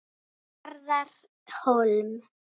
Garðar Hólm.